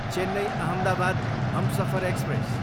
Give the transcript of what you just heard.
Chennai, Ahmedabad Humsafar express